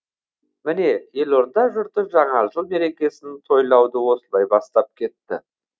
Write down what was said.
міне елорда жұрты жаңа жыл мерекесін тойлауды осылай бастап кетті